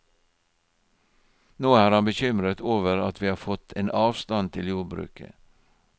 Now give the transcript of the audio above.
Nå er han bekymret over at vi har fått en avstand til jordbruket.